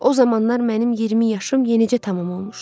O zamanlar mənim 20 yaşım yenicə tamam olmuşdu.